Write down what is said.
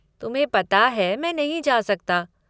तुम्हें पता है मैं नहीं जा सकता।